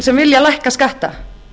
sem vilja lækka skatta